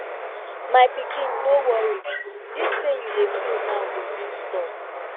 my pikin no worry dis pain you dey feel now go soon stop